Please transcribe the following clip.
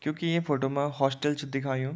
क्यूंकि ये फोटो मा हॉस्टल च दिखायुं।